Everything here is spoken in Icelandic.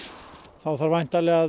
þá þarf væntanlega að